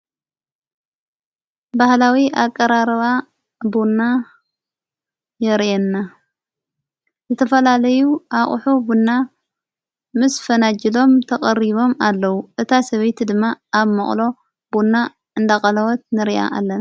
በህላዊ ኣቀራርባ ብና የርየና ዘተፈላለዩ ኣቝሑ ብና ምስ ፈናጅሎም ተቐሪቦም ኣለዉ እታ ሰበይቲ ድማ ኣብ መቕሎ ቡኡና እንዳቐላወት ንርእያ ኣለና።